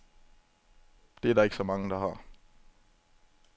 Det er der ikke så mange, der har.